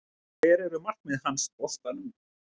Hver eru markmið hans boltanum?